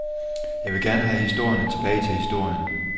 Jeg vil gerne have historierne tilbage til historien.